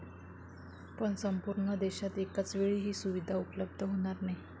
पण संपूर्ण देशात एकाचवेळी ही सुविधा उपलब्ध होणार नाही.